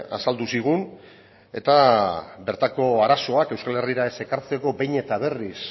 azaldu zigun eta bertako arazoak euskal herrira ez ekartzeko behin eta berriz